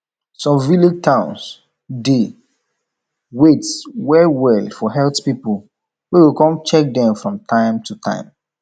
some village towns dey wait well well for health people wey go come check them from time to time